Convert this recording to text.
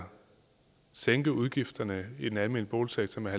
sænke udgifterne i den almene boligsektor med